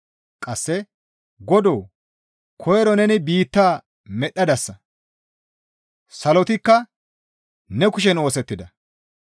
Qasse, «Godoo! Koyro neni biitta medhdhadasa; Salotikka ne kushen oosettida.